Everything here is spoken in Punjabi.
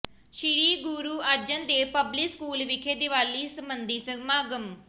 ਸ੍ਰੀ ਗੁਰੂ ਅਰਜਨ ਦੇਵ ਪਬਲਿਕ ਸਕੂਲ ਵਿਖੇ ਦੀਵਾਲੀ ਸਬੰਧੀ ਸਮਾਗਮ